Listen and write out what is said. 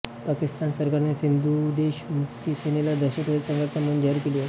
पाकिस्तान सरकारने सिंधुदेश मुक्ती सेनेला दहशतवादी संघटना म्हणून जाहीर केली आहे